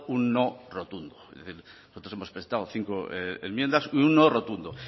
un no rotundo nosotros hemos prestado cinco enmiendas y un no rotundo